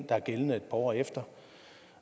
der er gældende et par år efter